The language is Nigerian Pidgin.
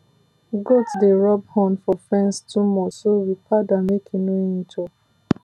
goat dey rub horn for fence too much so we pad am make e no injure